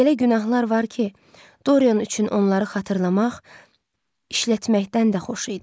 Elə günahlar var ki, Dorien üçün onları xatırlamaq işlətməkdən də xoş idi.